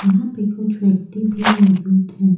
यहां पे कुछ व्यक्ति भी मौजूद हैं।